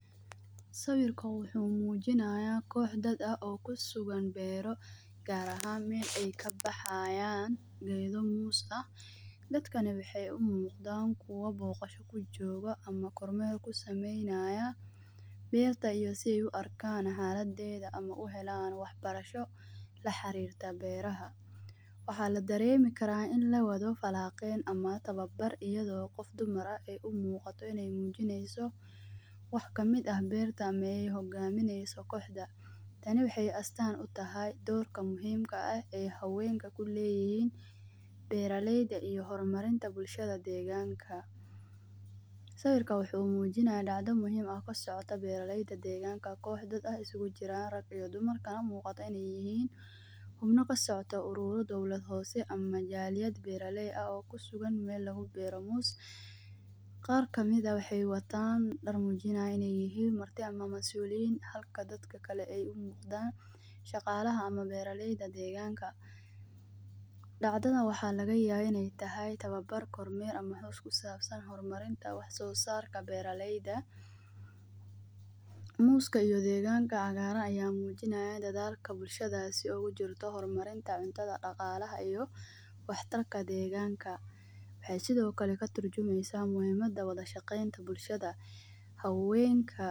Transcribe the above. Sawirka koox dada oo kusugan beero gaar ahan meel ay kabaxayaan geedo muus ah dadkani waxee umuuqdaan kuwo booqosho ujooga ama kormeel kusameynaaya meel tayo si ay u arkaan xaaladeda ama u helaan wax barasho la xariirta beeraha waxaa ladaremi karaa in lawado falaqeeyn ama tababar iyadoo qof dumara ay umuuqato iney muujineyso wax kamida beerta ama ay hogaamineyso kooxda tani waxey astaan utahay doorka muhiimka ah ee haweenka kuleeyihiin beeraleyda iyo horamarinta bulshada deegaanka sawirka wuxuu muujinaya dhacdo muhiima kasocto beeraleyda deeganka koox dada oo isugu jiraan rag iyo dumar kana muuqata ineey yihiin xubno kasocta uruurad dowlad hoose ama majaaliyad beeraley ah oo kusugan meel lagu beero muus qaar kamida waxey wataan dhar muujinaya inee yihiin marti ama masuuliyiin halka dadka kale ee umuuqdan shaqaalaha ama beeraleyda deeganka dhacdadan waxa laga yaaba iney tahay tawabar, kormeer ama xus kusaabsan hormarinta wax soo saarka beeraleyda muuska iyo deeganka cagaaran ayaa muujinaya dadaalka bulshadaasi ay ugu jirto hormarinta cuntada, dhaqaalaha iyo wax tarka deeganka waxee sidoo kale katujumeysa muhiimada wada shaqeynta bulshada haweenka.